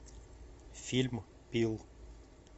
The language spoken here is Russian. фильм пил